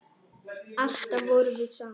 Alltaf vorum við saman.